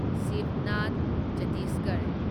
Shibnath Chhattisgarh